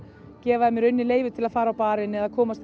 gefa þeim leyfi til að fara á barinn eða komast